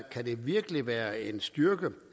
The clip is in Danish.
det virkelig være en styrke